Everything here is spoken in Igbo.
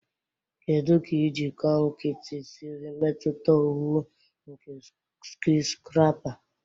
Kedu ka iji kọnkịtị siri metụta owuwu nke skiscrapa?